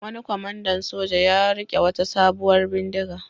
Wani kwamandan soja ya riƙe wata sabuwar bindiga.